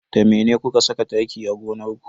Da mene kuka saka taki a gonar ku?